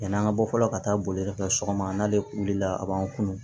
Yann'an ka bɔ fɔlɔ ka taa boliyɔrɔ kɛ sɔgɔma n'ale wulila a b'an kunun